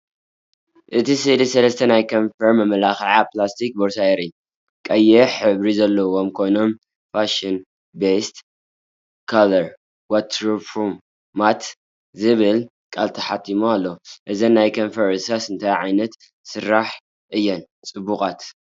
እቲ ስእሊ ሰለስተ ናይ ከንፈር መመላኪዒ ኣብ ፕላስቲክ ቦርሳ የርኢ። ቀይሕ ሕብሪ ዘለዎም ኮይኖም፡ "ፋሽን ቤስት ኮለር ዋተርፕሩፍ ማት" ዝብል ቃላት ተሓቲሙ ኣሎ። እዘን ናይ ከንፈር እርሳስ ንእንታይ ዓይነት ስራሕ እየን ጽቡቓት?